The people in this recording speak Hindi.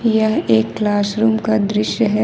यह एक क्लासरूम का दृश्य है ।